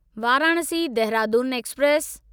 Varanasi Dehradun express